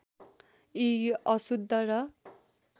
यी अशुद्ध र